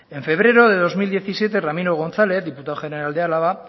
en febrero de dos mil diecisiete ramiro gonzález diputado general de álava